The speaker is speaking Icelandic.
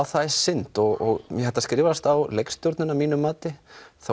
það er synd og þetta skrifast á leikstjórnina að mínu mati